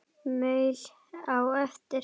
Maul á eftir.